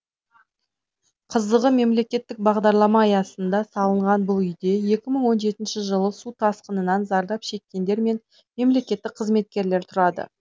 қызығы мемлекеттік бағдарлама аясында салынған бұл үйде екі мың он жетінші жылы су тасқынынан зардап шеккендер мен мемлекеттік қызметкерлер тұрады